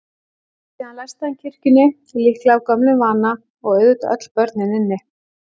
Síðan læsti hann kirkjunni, líklega af gömlum vana, og auðvitað öll börnin inni.